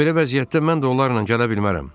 Amma belə vəziyyətdə mən də onlarla gələ bilmərəm.